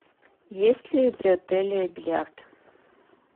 есть ли при отеле бильярд